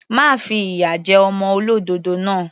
Má fi ìyà jẹ ọmọ olódòdó náà.